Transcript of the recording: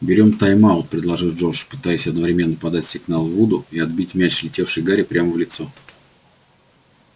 берём тайм-аут предложил джордж пытаясь одновременно подать сигнал вуду и отбить мяч летевший гарри прямо в лицо